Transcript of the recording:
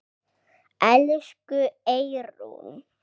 Elsku Eyrún.